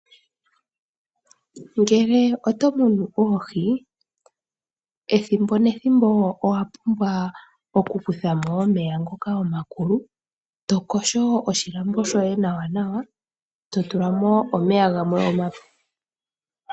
Ngele oto munu oohi, ethimbo nethimbo owa pumbwa okukutha mo omeya ngoka omakulu, to yogo oshilambo shoye nawanawa, to tula mo omeya gamwe omape.